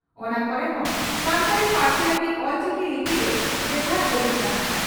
ᱚᱱᱟ ᱠᱚᱨᱮ ᱦᱚᱸ ᱥᱟᱱᱛᱟᱲᱤ ᱯᱟᱹᱨᱥᱤ ᱞᱟᱹᱜᱤᱫ ᱚᱞᱪᱤᱠᱤ ᱞᱤᱯᱤ ᱜᱮ ᱵᱮᱵᱷᱟᱨ ᱡᱟᱹᱨᱩᱲ ᱠᱟᱱᱟ ᱾